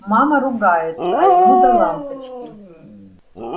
мама ругается а ему до лампочки